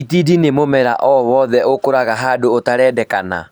Itindiĩ nĩ mũmera oro wothe ũkũraga handũ ũtarendeka